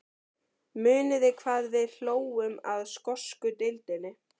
Muniði hvað við hlógum að skosku deildinni?